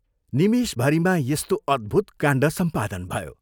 निमेषभरिमा यस्तो अद्भूत काण्ड सम्पादन भयो।